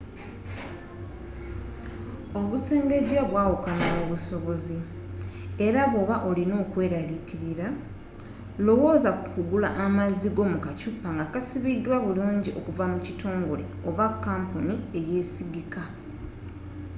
obusengejja bwawukana mu busobozi era bw’oba olina okweralikirira lowooza ku kugula amazzi go mu kacupa nga kasibiddwa bulungi okuva mu kitongole kampuni eyesigika